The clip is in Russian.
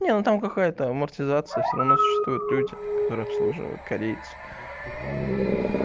не ну там какая-то амортизация всё равно существует люди которые обслуживают корейцы